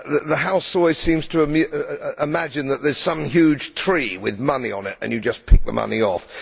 The House always seems to imagine that there is some huge tree with money on it and you just pick the money off.